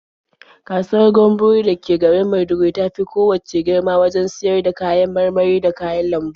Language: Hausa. Kasuwar Gamburo da ke garin Maiduguri ta fi kowacce girma wajen siyar da kayan marmari da kayan lambu.